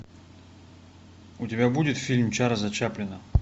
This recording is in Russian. у тебя будет фильм чарльза чаплина